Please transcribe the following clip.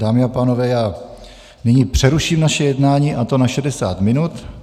Dámy a pánové, já nyní přeruším naše jednání, a to na 60 minut.